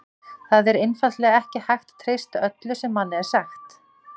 Það er einfaldlega ekki hægt að treysta öllu sem manni er sagt.